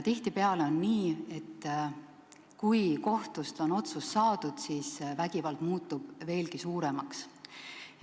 Tihtipeale on nii, et kui kohtust on otsus saadud, siis vägivald muutub veelgi suuremaks.